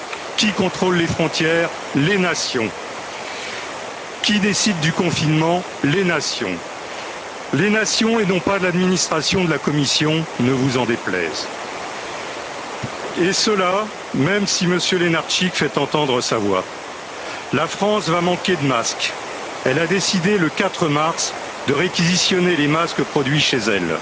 Qui contrôle les frontières? Les nations. Qui décide du confinement? Les nations. Les nations et non pas l'administration de la Commission, ne vous en déplaise. Et cela, même si M. Lenarčič fait entendre sa voix. La France va manquer de masques. Elle a décidé, le 4 mars, de réquisitionner les masques produits